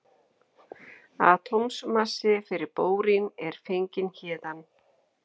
Atómmassi fyrir bórín er fenginn héðan.